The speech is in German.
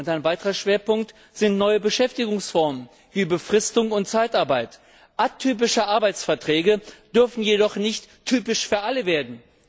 Ein weiterer Schwerpunkt sind neue Beschäftigungsformen, wie Befristung und Zeitarbeit. Atypische Arbeitsverträge dürfen jedoch nicht typisch für alle werden.